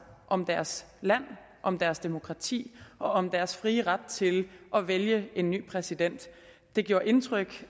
om deres land om deres demokrati og om deres frie ret til at vælge en ny præsident det gjorde indtryk